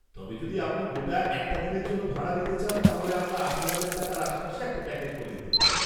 তবে যদি আপনি গোটা একটা দিনের জন্য ভাড়া নিতে চান তাহলে আমরা আঠেরো হাজার টাকার আশেপাশে একটা প্যাকেজ করে দিতে পারি।